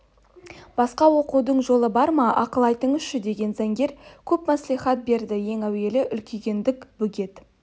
басқа оқудың жолы бар ма ақыл айтыңызшы деген заңгер көп мәслихат берді ең әуелі үлкейгендік бөгет